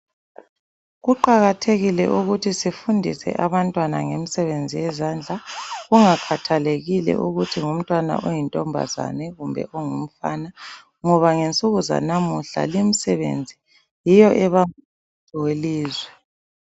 Kuqakathekile ukuthi sifundise abantwana ngemisebenzi yezandla kungakhathalekile ukuthi ngumtwana oyintombazane kumbe ongumfana ngoba ngensuku zanamuhla limsebenzi yiyo ebamba umnotho welizwe.